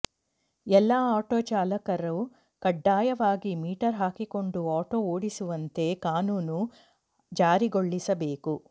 ಎಲ್ಲಾ ಆಟೋ ಚಾಲಕರು ಕಡ್ಡಾಯವಾಗಿ ಮೀಟರ್ ಹಾಕಿಕೊಂಡು ಆಟೋ ಓಡಿಸುವಂತೆ ಕಾನೂನನ್ನು ಜಾರಿಗೊಳಿಸಬೇಕು